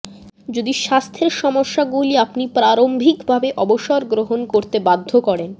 যদি স্বাস্থ্যের সমস্যাগুলি আপনি প্রারম্ভিকভাবে অবসর গ্রহণ করতে বাধ্য করেন